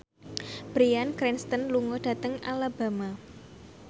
Bryan Cranston lunga dhateng Alabama